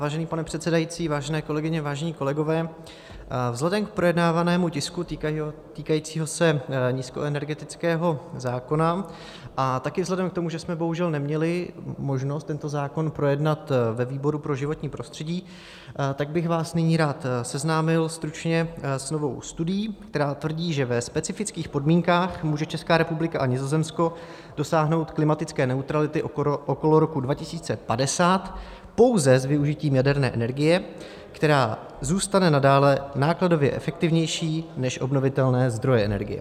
Vážený pane předsedající, vážené kolegyně, vážení kolegové, vzhledem k projednávanému tisku týkajícímu se nízkoenergetického zákona a také vzhledem k tomu, že jsme bohužel neměli možnost tento zákon projednat ve výboru pro životní prostředí, tak bych vás nyní rád seznámil stručně s novou studií, která tvrdí, že ve specifických podmínkách může Česká republika a Nizozemsko dosáhnout klimatické neutrality okolo roku 2050 pouze s využitím jaderné energie, která zůstane nadále nákladově efektivnější než obnovitelné zdroje energie.